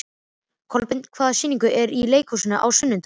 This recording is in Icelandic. Kolbeinn, hvaða sýningar eru í leikhúsinu á sunnudaginn?